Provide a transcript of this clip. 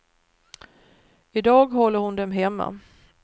I dag håller hon dem hemma.